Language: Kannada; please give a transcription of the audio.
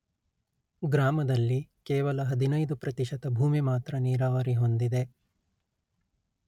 ಗ್ರಾಮದಲ್ಲಿ ಕೇವಲ ಹದಿನೈದು ಪ್ರತಿಶತ ಭೂಮಿ ಮಾತ್ರ ನೀರಾವರಿ ಹೊಂದಿದೆ